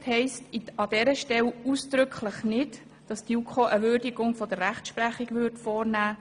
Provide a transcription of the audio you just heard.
Aufsicht heisst an dieser Stelle ausdrücklich nicht, dass die JuKo etwa eine Würdigung der Rechtsprechung vornehmen würde.